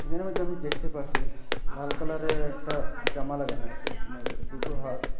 এর মধ্যে আমি দেখতে পারসি লাল কালারের একটা জামা লাগানো আসে মেয়েদের দুটো হাত--